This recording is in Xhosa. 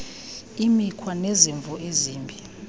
imikhwa nezimvo ezimbi